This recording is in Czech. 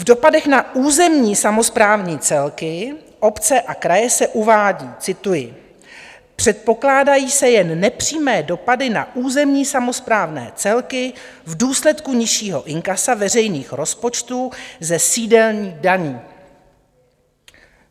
V dopadech na územní samosprávní celky, obce a kraje se uvádí - cituji: "Předpokládají se jen nepřímé dopady na územní samosprávné celky v důsledku nižšího inkasa veřejných rozpočtů ze sdílených daní."